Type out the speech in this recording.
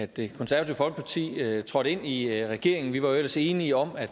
det konservative folkeparti trådte ind i i regeringen vi var jo ellers enige om at